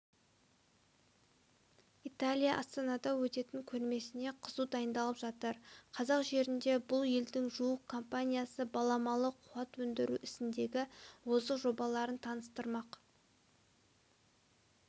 италия астанада өтетін көрмесіне қызу дайындалып жатыр қазақ жерінде бұл елдің жуық компаниясы баламалы қуат өндіру ісіндегі озық жобаларын таныстырмақ